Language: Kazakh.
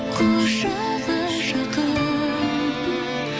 құшағы жақын